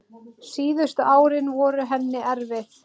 Síðustu árin voru henni erfið.